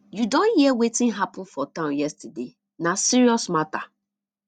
you don hear wetin happen for town yesterday na serious matter